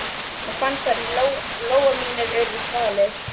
Ég fann hvernig lófar mínir urðu þvalir.